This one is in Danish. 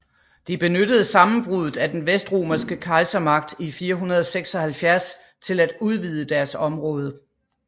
De benyttede sammenbruddet af den vestromerske kejsermagt i 476 til at udvide deres område